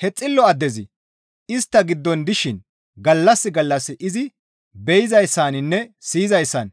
He xillo addezi istta giddon dishin gallas gallas izi be7izayssaninne siyizayssan